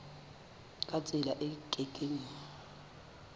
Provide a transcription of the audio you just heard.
ka tsela e ke keng